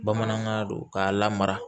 Bamanankan don k'a lamara